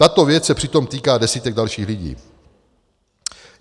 "Tato věc se přitom týká desítek dalších lidí.